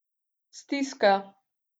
Stiska.